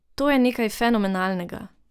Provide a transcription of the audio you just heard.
To je nekaj fenomenalnega.